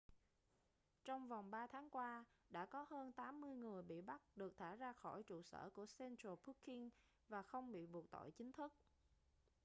trong vòng 3 tháng qua đã có hơn 80 người bị bắt được thả ra khỏi trụ sở của central booking và không bị buộc tội chính thức